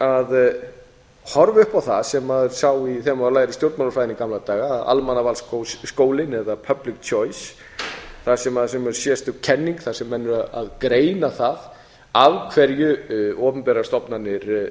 að horfa upp á það sem maður lærði í stjórnmálafræðinni í gamla daga að almannavalsskólann eða public choice þar sem er sérstök kenning þar sem menn eru að greina það af hverju opinberar stofnanir